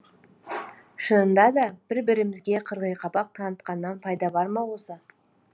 шынында да бір бірімізге қырғиқабақ танытқаннан пайда бар ма осы